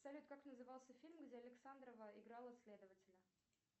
салют как назывался фильм где александрова играла следователя